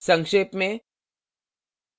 संक्षेप में